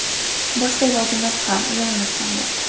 Boshqa ilojimiz ham, yo‘limiz ham yo‘q.